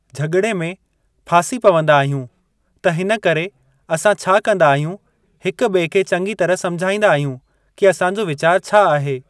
झगि॒ड़े में फासी पवंदा आहियूं त हिन करे असां छा कंदा आहियूं हिकु ॿिए खे चङी तरहां समझाईंदा आहियूं कि असां जो वीचारु छा आहे।